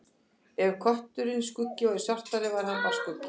Ef kötturinn Skuggi væri svartari væri hann bara skuggi.